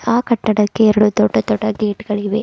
ಆ ಕಟ್ಟಡಕ್ಕೆ ಎರಡು ದೊಡ್ಡ ದೊಡ್ಡ ಗೇಟ್ ಗಳಿವೆ.